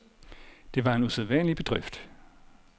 Det var en usædvanlig bedrift.